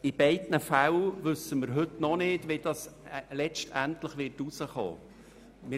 In beiden Fällen wissen wir heute noch nicht, wie dies letztendlich herauskommen wird.